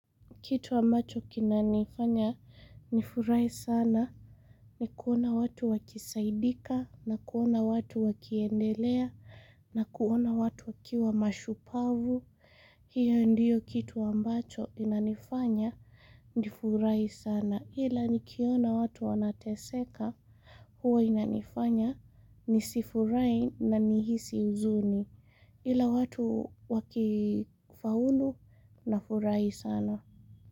Kitu ambacho kinanifanya nifurahi sana ni kuona watu wakisaidika na kuona watu wakiendelea na kuona watu wakiwa mashupavu. Hiyo ndiyo kitu ambacho inanifanya nifurahi sana. Ila nikiona watu wanateseka huwa inanifanya nisifurahi na nihisi huzuni. Ila watu wakifaulu nafurahi sana.